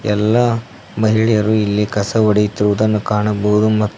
ಎಲ್ಲಾ ಮಹಿಳೆಯರು ಇಲ್ಲಿ ಕಸ ಹೊಡೆಯುತ್ತಿರುವುದನ್ನು ಕಾಣಬಹುದು ಮತ್ತು--